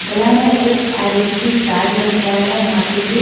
गला में एक आइडेंटिटी कार्ड लटकाया है और माथे पे--